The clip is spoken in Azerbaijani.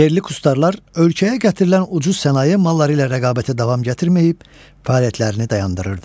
Yerli kustarlar ölkəyə gətirilən ucuz sənaye malları ilə rəqabətə davam gətirməyib, fəaliyyətlərini dayandırırdı.